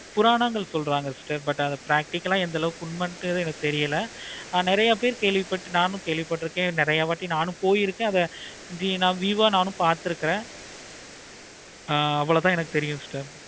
புராணங்கள் சொல்றாங்க sister but அத practical ஆஹ் எந்த அளவுக்கு உண்மைன்றது தெரியல நெறைய பேரு கேள்வி பட்டு நானும் கேள்வி பட்டு இருக்கேன். okay நானும் போயிருக்கேன். view ஆஹ் நானும் போயிருக்கேன். ஆஹ் அவ்வளோதான் எனக்கு தெரியும் sister